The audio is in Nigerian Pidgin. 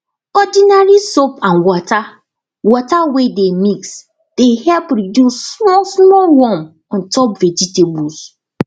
ordinary soap and water water wey dey mix dey help reduce small small worm on top vegetables